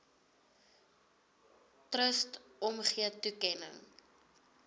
trust omgee toekenning